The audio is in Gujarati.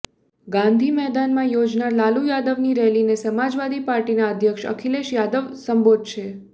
ગાંધી મેદાનમાં યોજાનાર લાલુ યાદવની રેલીને સમાજવાદી પાર્ટીના અધ્યક્ષ અખિલેશ યાદવ સંબોધશે